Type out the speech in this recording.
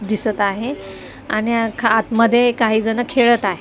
दिसत आहे आणि अ ख आत मध्ये काही जण खेळत आहे.